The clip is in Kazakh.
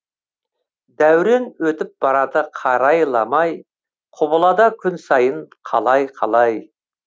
дәурен өтіп барады қарайламай құбылада күн сайын қалай қалай